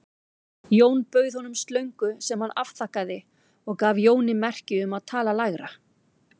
Jón bauð honum slöngu sem hann afþakkaði og gaf Jóni merki um að tala lægra.